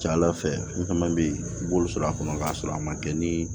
Ca ala fɛ n fɛn bɛ yen olu sɔrɔ a kɔnɔ k'a sɔrɔ a ma kɛ ni